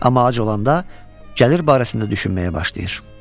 Amma ac olanda gəlir barəsində düşünməyə başlayır.